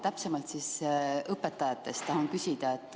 Täpsemalt just õpetajate kohta tahan küsida.